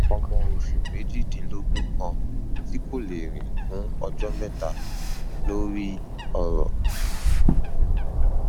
ọmọ oṣù méjìdínlógún kan tí kò lè rìn fún ọjọ mẹta lórí ọrọ um